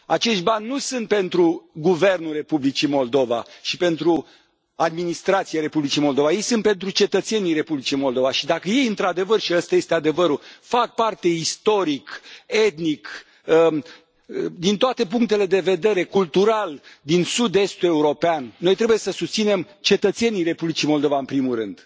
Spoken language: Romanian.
Acești bani nu sunt pentru guvernul Republicii Moldova și pentru administrația Republicii Moldova. Ei sunt pentru cetățenii Republicii Moldova și, dacă ei, într adevăr și ăsta este adevărul fac parte istoric, etnic, din toate punctele de vedere, cultural, din sud estul european, noi trebuie să îi susținem pe cetățenii Republicii Moldova, în primul rând.